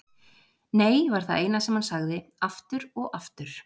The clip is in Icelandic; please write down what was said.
Nei var það eina sem hann sagði, aftur og aftur.